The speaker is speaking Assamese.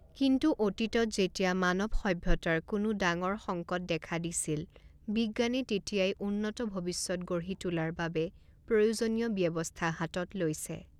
কিন্তু অতীতত যেতিয়া মানৱ সভ্যতাৰ কোনো ডাঙৰ সংকট দেখা দিছিল বিজ্ঞানে তেতিয়াই উন্নত ভৱিষ্যৎ গঢ়ি তোলাৰ বাবে প্ৰয়োজনীয় ব্যৱস্থা হাতত লৈছে।